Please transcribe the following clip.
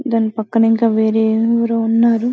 దాని పక్కన ఇంకా వేరే ఎవరో ఉన్నారు.